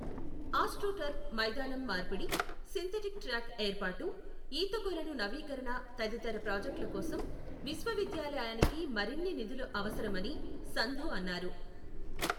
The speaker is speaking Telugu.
ఆస్ట్రోటర్ఫ్ మైదానం మార్పిడి, సింథటిక్ ట్రాక్ ఏర్పాటు, ఈతకొలను నవీకరణ తదితర ప్రాజెక్టులకోసం విశ్వవిద్యాలయానికి మరిన్ని నిధులు అవసరమని సంధూ అన్నారు.